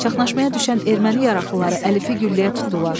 Çaxnaşmaya düşən erməni yaraqlıları Əlifi gülləyə tutdular.